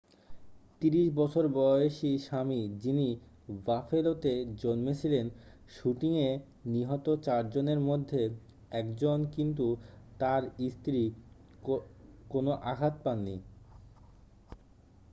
30 বছর বয়সী স্বামী যিনি বাফেলোতে জন্মেছিলেন শুটিংয়ে নিহত চারজনের মধ্যে একজন কিন্তু তার স্ত্রী কোনও আঘাত পায়নি